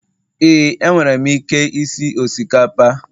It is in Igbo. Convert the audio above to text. Éè, enwere m ike isi osikapa